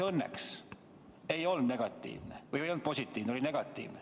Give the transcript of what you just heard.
Teil läks õnneks – test ei olnud positiivne, oli negatiivne.